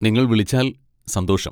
നിങ്ങൾ വിളിച്ചാൽ സന്തോഷം.